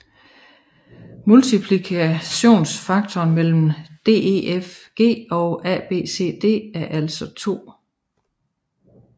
Multiplikationsfaktoren mellem DEFG og ABCD er altså 2